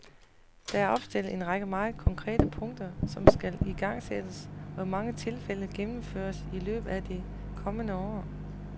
Der er opstillet en række meget konkrete punkter, som skal igangsættes og i mange tilfælde gennemføres i løbet af det kommende år.